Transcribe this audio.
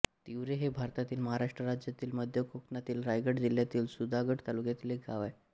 तिवरे हे भारतातील महाराष्ट्र राज्यातील मध्य कोकणातील रायगड जिल्ह्यातील सुधागड तालुक्यातील एक गाव आहे